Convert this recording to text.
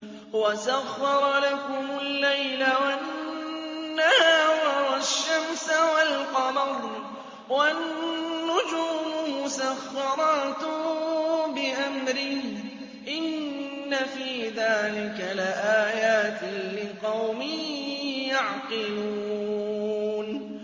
وَسَخَّرَ لَكُمُ اللَّيْلَ وَالنَّهَارَ وَالشَّمْسَ وَالْقَمَرَ ۖ وَالنُّجُومُ مُسَخَّرَاتٌ بِأَمْرِهِ ۗ إِنَّ فِي ذَٰلِكَ لَآيَاتٍ لِّقَوْمٍ يَعْقِلُونَ